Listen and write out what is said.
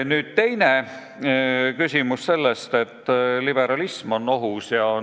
Nüüd, küsimus on ka selles, et liberalism on ohus.